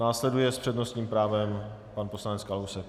Následuje s přednostním právem pan poslanec Kalousek.